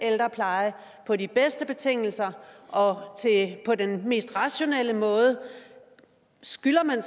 ældrepleje på de bedste betingelser og på den mest rationelle måde skylder man